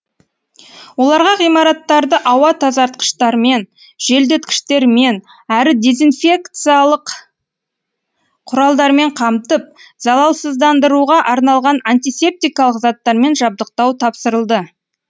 оларға ғимараттарды ауа тазартқыштармен желдеткіштермен әрі дезинфекциялық құралдармен қамтып залалсыздандыруға арналған антисептикалық заттармен жабдықтау тапсырылды